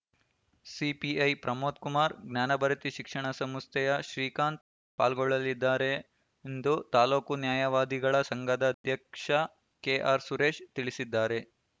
CPI Pramod Kumar Jnanabharathi ಶಿಕ್ಷಣ ಸಂಸ್ಥೆಯ ಶ್ರೀಕಾಂತ್‌ ಪಾಲ್ಗೊಳ್ಳಲಿದ್ದಾರೆ ಎಂದು ತಾಲೂಕು ನ್ಯಾಯವಾದಿಗಳ ಸಂಘದ ಅಧ್ಯಕ್ಷ ಕೆಆರ್‌ಸುರೇಶ್‌ ತಿಳಿಸಿದ್ದಾರೆ